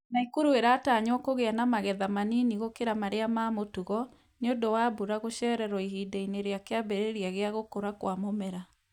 Nakuru ĩratanywo kũgĩa na magetha manini gũkĩra marĩa ma mũtugo, nĩ ũndũ wa mbura gũcererwo ihinda-inĩ rĩa kĩambĩrĩria kĩa gũkũra kwa mũmera.